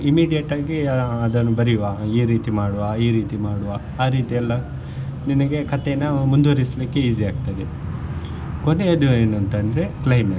Immediate ಆಗಿ ಆ ಅದನ್ನು ಬರಿವಾ ಈ ರೀತಿ ಮಾಡುವಾ ಈ ರೀತಿ ಮಾಡುವಾ ಆ ರೀತೀಯೆಲ್ಲಾ ನಿನಿಗೆ ಕಥೆನಾ ಮುಂದುವರಿಸ್ಲಿಕ್ಕೆ easy ಆಗ್ತದೆ ಕೊನೆದ್ದು ಏನ್ ಅಂತ ಅಂದ್ರೆ climax .